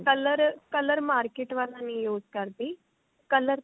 color color market ਵਾਲਾ ਨਹੀਂ use ਕਰਦੀ color ਤਾਂ